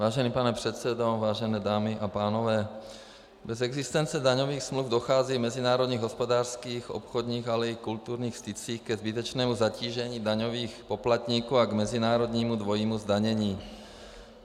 Vážený pane předsedo, vážené dámy a pánové, bez existence daňových smluv dochází v mezinárodních hospodářských, obchodních, ale i kulturních stycích ke zbytečnému zatížení daňových poplatníků a k mezinárodnímu dvojímu zdanění.